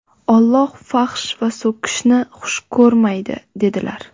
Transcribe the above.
Alloh fahsh va so‘kishni xush ko‘rmaydi", dedilar".